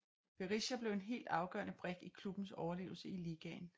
Berisha blev en helt afgørende brik i klubbens overlevelse i ligaen